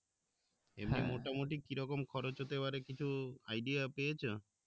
এমনি মোটামুটি কি রকম খরচ হতে পারে কিছু idea পেয়েছো?